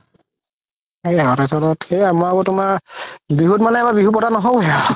তুমাৰ বিহুত মানে আমাৰ বিহু পাতা নহ'ল গে আৰু